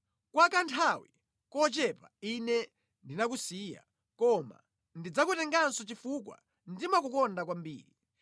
“Kwa kanthawi kochepa, Ine ndinakusiya, koma ndidzakutenganso chifukwa ndimakukonda kwambiri.